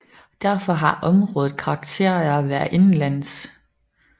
Derfor har området karakter af at være indenlands